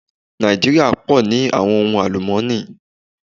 Nàìjíríà pọ̀ ní àwọn ohun àlùmọ́nì.